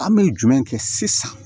An bɛ jumɛn kɛ sisan